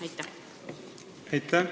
Aitäh!